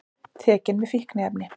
Tekinn með fíkniefni